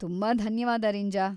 ತುಂಬಾ ಧನ್ಯವಾದ ರಿಂಜಾ.